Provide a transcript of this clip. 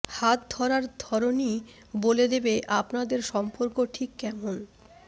হাত ধরার ধরনই বলে দেবে আপনাদের সম্পর্ক ঠিক কেমন